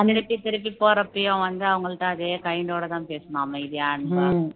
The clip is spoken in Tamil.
திருப்பி திருப்பி போறப்பையும் வந்து அவங்கள்ட்ட அதே kind டோடதான் பேசணும் அமைதியா அன்பா